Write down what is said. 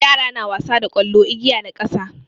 Yara na wasa da ƙwallo, igiya da ƙasa.